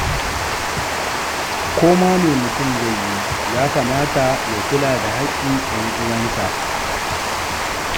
Ko ma me mutum zai yi, ya kamata ya kula da haƙƙin 'yan'uwansa.